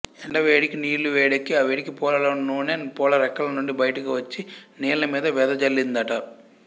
ఎండవేడీకి నీళ్ళూ వేడెక్కి ఆవేడికి పూలలోని నూనె పూలరెక్కలనుండి బయటికి వచ్చి నీళ్ళమీద వెదజల్లిందట